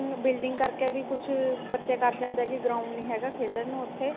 building ਕਰਕੇ ਵੀ ਕੁੱਝ ਬੱਚੇ ਕਰ ਜਾਂਦੇ ਨੇ ਕੀ ground ਨਹੀਂ ਹੈਗਾ ਖੇਲਣ ਨੂੰ ਉੱਥੇ